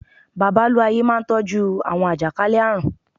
Babalú-ayé máa n tọ́jú àwọn àjàkálẹ̀ àrùn